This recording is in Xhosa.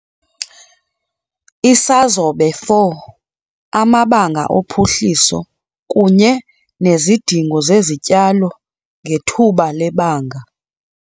Isazobe 4- Amabanga ophuhliso kunye nezidingo zezityalo ngethuba lebanga.